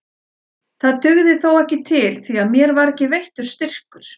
Það dugði þó ekki til því að mér var ekki veittur styrkur.